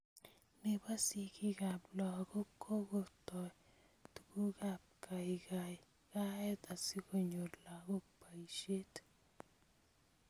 Nebo sigikab lagok kokoitoi tugukab kaikaikaet asikonyor lagok boisiet